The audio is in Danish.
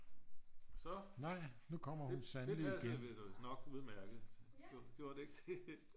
så det passede nok udmærket gjordet det ikke det